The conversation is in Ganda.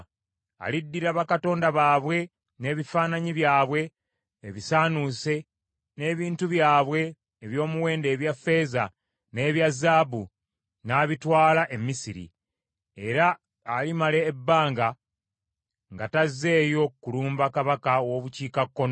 Aliddira bakatonda baabwe n’ebifaananyi byabwe ebisaanuuse n’ebintu byabwe eby’omuwendo ebya ffeeza n’ebya zaabu n’abitwala e Misiri, era alimala ebbanga nga tazzeeyo kulumba kabaka w’obukiikakkono.